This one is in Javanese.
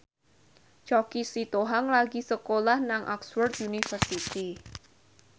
Choky Sitohang lagi sekolah nang Oxford university